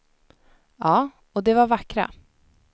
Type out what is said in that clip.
Ja, och de var vackra.